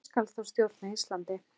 Og hver skal þá stjórna Íslandi?